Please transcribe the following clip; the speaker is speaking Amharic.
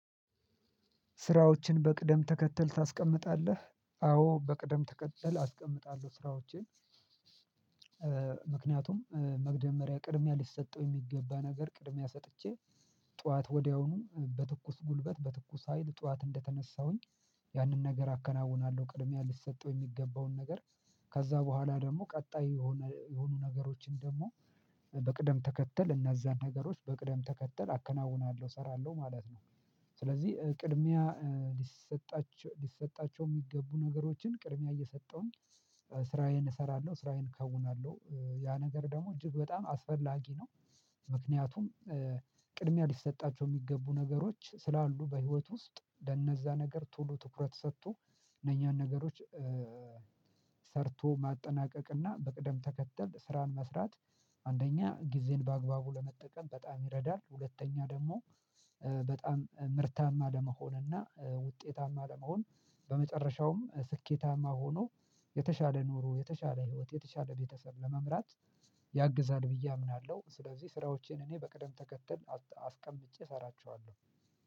ስራዎችን በቅደም ተከተል ታስቀምጣለህ አዎ በቅደም ተከተል አስቀምጣለሁ ስራዎቼን ምክንያቱም መግደመሪያ ቅድሚያ ሊሰጠው የሚገባ ነገር ቅድሚያ ሰጥቼ ጠዋት ወዲያውኑ በትኩስ ጉልበት በትኩስ ሀይል ጠዋት እንደተነሳሁኝ ያንን ነገር አከናውናለሁ ቅድሚያ ልሰጠው የሚገባውን ነገር ከዛ በኋላ ደግሞ ቀጣይ የሆነ የሆኑ ነገሮችን ደግሞ በቅደም ተከተል እነዛን ነገሮች በቅደም ተከተል አከናውናለሁ እሰራለሁ ማለት ነው። ስለዚህ ቅድሚያ ሊሰጣቸው የሚገቡ ነገሮችን ቅድሚያ እየሰጠሁኝ ስራዬን እሰራለሁ ስራዬን እከውናለሁ ያ ነገር ደግሞ እጅግ በጣም አስፈላጊ ነው። ምክንያቱም ቅድሚያ ሊሰጣቸው የሚገቡ ነገሮች ስላሉ በህይወት ውስጥ ለነዛ ነገር ቶሎ ትኩረት ሰጥቶ እነኛን ነገሮች ሰርቶ ማጠናቀቅና በቅደም ተከተል ስራን መስራት አንደኛ ጊዜን በአግባቡ ለመጠቀም በጣም ይረዳል። ሁለተኛ ደግሞ በጣም ምርታማ ለመሆን እና ውጤታማ ለመሆን በመጨረሻዉም ስኬታማ ሆኖ የተሻለ ኑሮ የተሻለ ህይወት የተሻለ በተሰብ ለመምራት ያግዛል። ብዬ አምናለሁ። ስለዚህ ስራዎቼን እኔ በቅደም ተከተል አስቀምጬ እሰራቸዋለሁ።